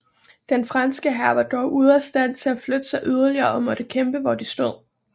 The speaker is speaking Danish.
Den franske hær var dog ude af stand til at flytte sig yderligere og måtte kæmpe hvor de stod